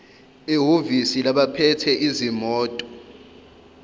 ehhovisi labaphethe izimoto